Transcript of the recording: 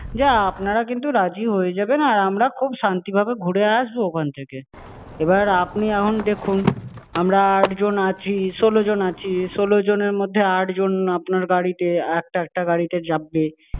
যে আপনারা কিন্তু রাজি হয়ে যাবেন আর আমরা খুব শান্তি ভাবে ঘুরে আসবো ওখান থেকে। এবার আপনি এখন দেখুন, আমরা আটজন আছি, ষোলোজন আছি। ষোলোজন-এর মধ্যে আটজন আপনার গাড়িতে, একটা-একটা গাড়িতে চাপবে।